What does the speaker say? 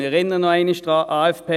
Ich erinnere noch einmal daran: